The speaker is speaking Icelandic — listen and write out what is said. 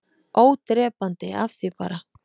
ÓDREPANDI- AF ÞVÍ BARA